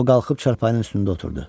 O qalxıb çarpayının üstündə oturdu.